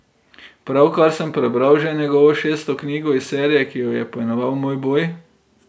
Pravkar sem prebral že njegovo šesto knjigo iz serije, ki jo je poimenoval Moj boj.